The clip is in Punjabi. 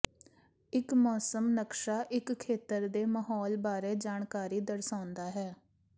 ਇੱਕ ਮੌਸਮ ਨਕਸ਼ਾ ਇੱਕ ਖੇਤਰ ਦੇ ਮਾਹੌਲ ਬਾਰੇ ਜਾਣਕਾਰੀ ਦਰਸਾਉਂਦਾ ਹੈ